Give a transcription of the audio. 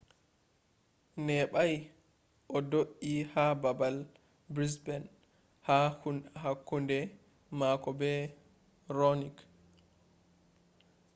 neɓɓay o do’i ha baabal brisbane ha kunde mako be raonic